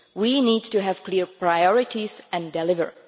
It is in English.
We need to have clear priorities and deliver.